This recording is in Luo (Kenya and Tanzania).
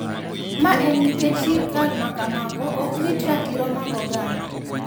Ma en nikech sirkal ma kamago ok rit ratiro mag oganda.